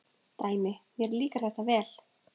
Dæmi: Mér líkar þetta vel.